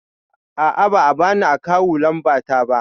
A'a ba a bani akawu lamba ta ba